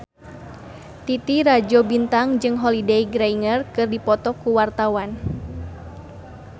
Titi Rajo Bintang jeung Holliday Grainger keur dipoto ku wartawan